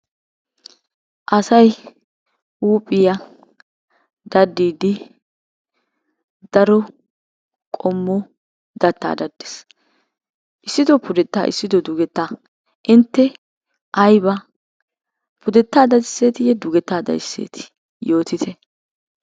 Asay huuphiya daddiiddi qommo dattaa daddees. Issito pudettaa issito dugettaa. Intte ayba pudettaa dadisseetiiyye dugettaa dadisseetii yootite.